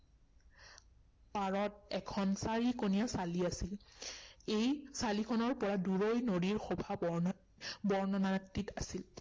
পাৰত এখন চাৰি কোণীয়া চালি আছিল। এই চালিখনৰ পৰা দূৰৈৰ নদীৰ শোভা বৰ্ণনা বৰ্ণনাতীত আছিল।